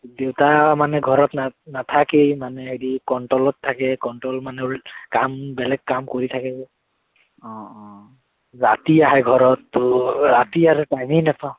দেউতা মানে ঘৰত না নাথাকেই মানে, হেৰি control ত থাকে control মানে কাম, বেলেগ কাম কৰি থাকে, ৰাতি আহে ঘৰত তোৰ, ৰাতি আৰু time এই নাপাও